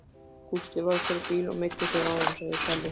Gústi varð fyrir bíl og meiddi sig áðan, segir Palli.